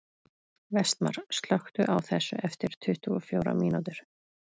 Vestmar, slökktu á þessu eftir tuttugu og fjórar mínútur.